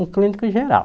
Um clínico geral.